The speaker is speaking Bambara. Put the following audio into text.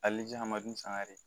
Hali ni hadamaden sangare